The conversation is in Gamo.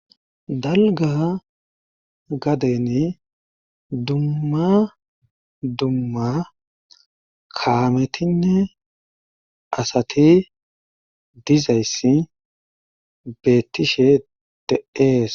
dalga gadeni dummma dumma kaametinne asati dizayssi beettishe de'ees